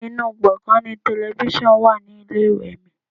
Inú gbongan ni telifísàn wà ní ilé-ìwé mi.